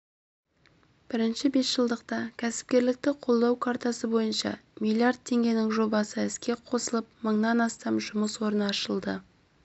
бірінші бесжылдықта кәсіпкерлікті қолдау картасы бойынша миллиард теңгенің жобасы іске қосылып мыңнан астам жұмыс орны ашылды